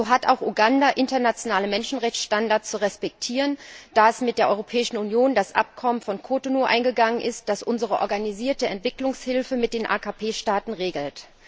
So hat auch Uganda internationale Menschenrechtsstandards zu respektieren, da es mit der Europäischen Union das Abkommen von Cotonou eingegangen ist, das unsere organisierte Entwicklungshilfe mit den AKP Staaten regelt.